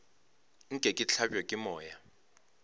nke ke hlabje ke moya